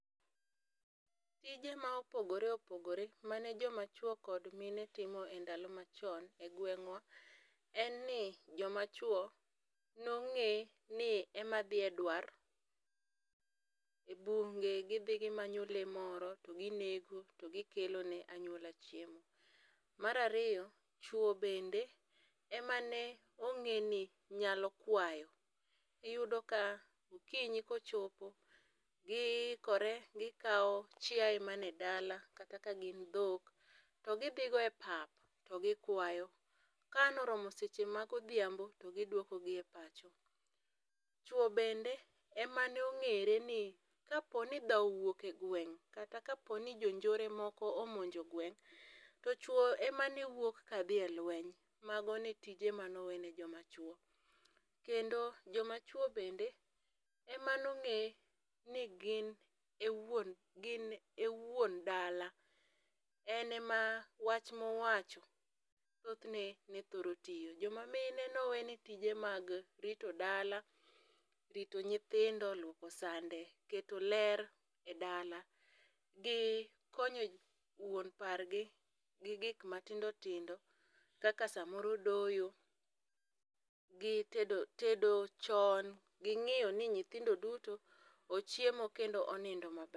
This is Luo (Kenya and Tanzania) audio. Tije ma opogore opogore mane jomachwo kod mine timo e ndalo machon e gweng'wa en ni, jomachwo nong'e ni ema dhi e dwar, e bunge gidhi gimanyo lee moro to ginego to gikelone anyuola chiemo. Mar ariyo, chwo bende ema ne ong'e ni nyalo kwayo. Iyudo ka okinyi kochopo, giikore gikawo chiaye mane dala kata kagin dhok to gidhi go e pap to gikwayo, ka an oromo seche magodhiambo, to gidwokogi e pacho. Chwo bende ema nong'ere ni kaponi dhawo owuok e gweng' kata kaponi jonjore moko omonjo gweng', to chwo emane wuok kadhi e lweny. Mago tije mane owene jomachwo. Kendo jomachwo bende emano ng'e ni gin e wuon dala, en ema wach mowacho thothne ne thoro tiyo. Jomamine ne owene tije mag rito dala, rito nyithindo, luoko sande, keto ler e dala gi konyo wuon pargi gi gik matindotindo kaka samoro doyo gi tedo chon gi ng'iyo ni nyithindo duto ochiemo kendo onindo maber.